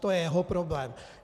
To je jeho problém.